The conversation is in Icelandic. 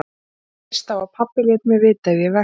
Ég treysti á að pabbi léti mig vita ef ég vekti hann.